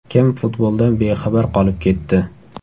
Kim futboldan bexabar qolib ketdi?